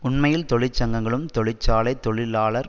உண்மையில் தொழிற்சங்கங்களும் தொழிற்சாலை தொழிலாளர்